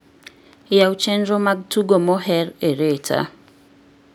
yaw chenro mag tugo moher e reta